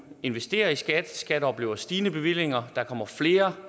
investerer vi i skat skat oplever stigende bevillinger der kommer flere